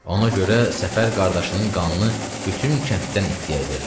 Ona görə Səfər qardaşının qanını bütün kənddən iddya edirdi.